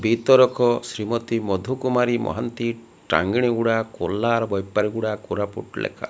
ବି ତରକ ଶ୍ରୀମତୀ ମଧୁକୁମାରୀ ମହାନ୍ତି ଟାଙ୍ଗିଣିଗୁଡ଼ା କୋହ୍ଲାର ବୈପାର ଗୁଡ଼ା କୋରାପୁଟ ଲେଖା --